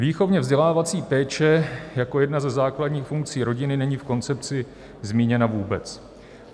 Výchovně-vzdělávací péče jako jedna ze základních funkcí rodiny není v koncepci zmíněna vůbec.